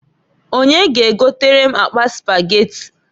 Onye g'egotere m akpa Spageti?